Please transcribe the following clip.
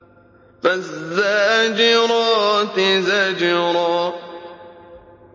فَالزَّاجِرَاتِ زَجْرًا